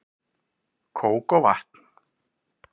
Kók og vatn